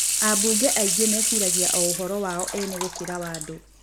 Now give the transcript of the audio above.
Ambunge aingĩ meciragia o ũhoro wao eene gũkĩra wa andũ.